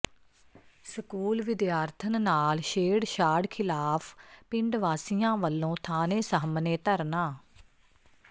school ਵਿਦਿਆਰਥਣ ਨਾਲ ਛੇੜਛਾੜ ਿਖ਼ਲਾਫ਼ ਪਿੰਡ ਵਾਸੀਆਂ ਵਲੋਂ ਥਾਣੇ ਸਾਹਮਣੇ ਧਰਨਾ